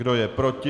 Kdo je proti?